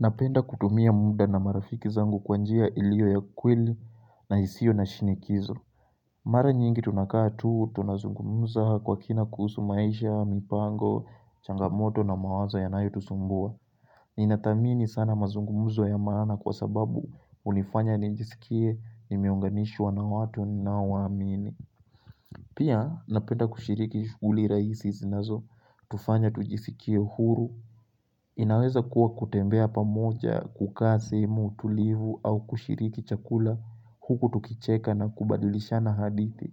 Napenda kutumia muda na marafiki zangu kwa njia ilio ya kweli na isio na shinikizo Mara nyingi tunakaa tuu tunazungumuza kwa kina kusu maisha, mipango, changamoto na mawazo yanayotusumbua Ninadhamini sana mazungumuzo ya maana kwa sababu unifanya nijisikie nimeunganishwa na watu ninaowaamini Pia napenda kushiriki shughuli rahisi zinazotufanya tujisikie huru inaweza kuwa kutembea pamoja kukaa simu tulivu au kushiriki chakula huku tukicheka na kubadilishana hadithi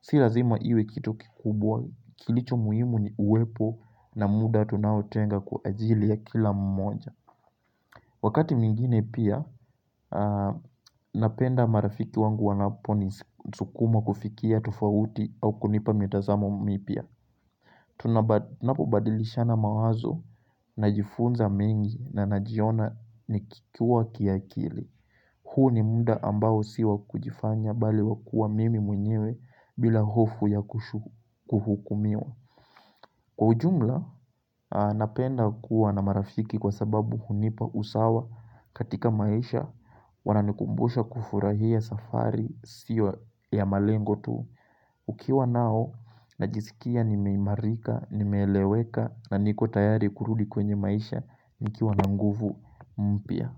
Si lazima iwe kitu kikubwa kilicho muhimu ni uwepo na muda tunaotenga kwa ajili ya kila mmoja Wakati mwigine pia napenda marafiki wangu wanapo nisukuma kufikia tufauti au kunipa mitazamo mipya Tunapobadilishana mawazo najifunza mengi na najiona nikikua kiakili huu ni muda ambao sio wa kujifanya bali wakua mimi mwenyewe bila hofu ya kuhukumiwa Kwa ujumla napenda kuwa na marafiki kwa sababu hunipa usawa katika maisha Wananikumbusha kufurahia safari sio ya malengo tu nikiwa nao najisikia nimeimarika, nimeleweka na niko tayari kurudi kwenye maisha nikiwa na nguvu mpya.